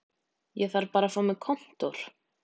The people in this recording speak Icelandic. Ég þarf bara að fá mér kontór